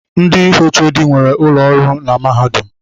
Ndị HOD nwere ụlọ ọrụ na mahadum.